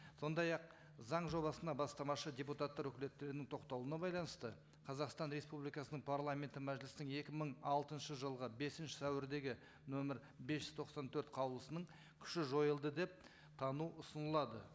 сондай ақ заң жобасына бастамашы депутаттар өкілеттерінің тоқтауына байланысты қазақстан республикасының парламенті мәжілісінің екі мың алтыншы жылғы бесінші сәуірдегі нөмір бес жүз тоқсан төрт қаулысының күші жойылды деп тану ұсынылады